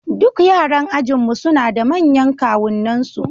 Duk yaran ajinmu suna da manyan kawunansu